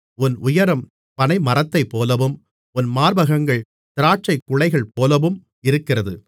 உன் உயரம் பனைமரத்தைப்போலவும் உன் மார்பகங்கள் திராட்சைக்குலைகள்போலவும் இருக்கிறது